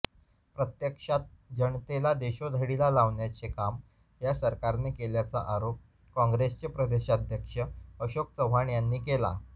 प्रत्यक्षात जनतेला देशोधडीला लावण्याचे काम या सरकारने केल्याचा आरोप काँग्रेसचे प्रदेशाध्यक्ष अशोक चव्हाण यांनी केला